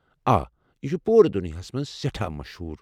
آ، یہِ چھُ پوٗر دنیا ہَس مَنٛز سٮ۪ٹھاہ مشہوُر۔